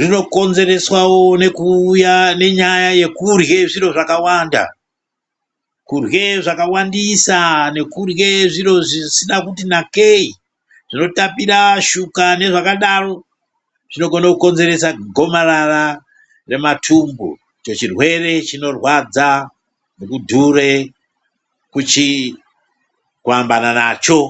rinokonzereswawo nekuuya nenyaya yekurya zviro zvakawanda, kurya zvakawandisa nekurya zviro zvisina kuti nakeyi zvinotapira nezvakadaro chirwere chinorwadza kudhuure kuambana nacho.